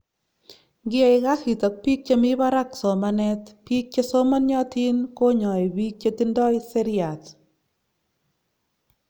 ngia kasit ak piik chemii barak somanet, piik chesomaniatin konyai piik chetindoi seriat